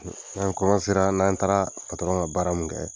n'an n'an taara ŋa baara mun kɛɛ